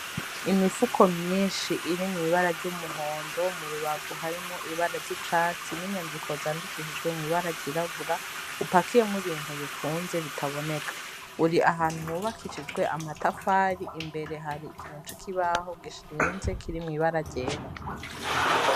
Imifuko myinshi iri mw'ibara ry'umuhondo mu rubavu harimo ibara ry'icatsi n'inyandiko zandikishijwe mw'ibara ryirabura upakiyemwo ibintu bifunze bitaboneka uri ahantu hubakishijwe amatafari imbere hari ikinuci kibaho gishiinze kiri mw'ibara ryera.